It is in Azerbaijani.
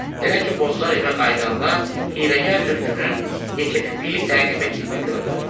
Belə ki, Bozlar evə qayıdanda hiyləgər tülkünün yekəpipiyi təqib etdiyini gördü.